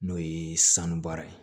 N'o ye sanu baara ye